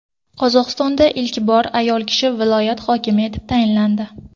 Qozog‘istonda ilk bor ayol kishi viloyat hokimi etib tayinlandi.